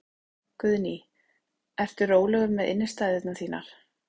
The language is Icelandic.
Guðný: Ertu rólegur með innistæðurnar þínar?